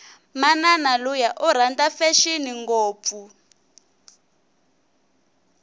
manani luya iranda fashini ngopfu